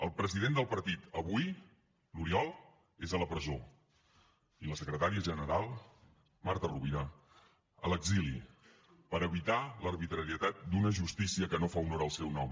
el president del partit avui l’oriol és a la presó i la secretària general marta rovira a l’exili per evitar l’arbitrarietat d’una justícia que no fa honor al seu nom